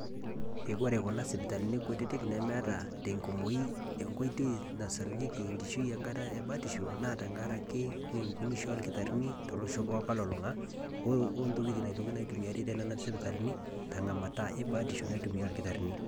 eji koree kuna sipitalini kutitik nemeta tenkumoi enkoitoi nasarunyieki enkishui tengata ebatisho ake naa enkunisho oldakitarini losho pokin olulung'a ontokiting naitokini aitumia tenena sipitalini tenkata ebiotisho te nena sipitalini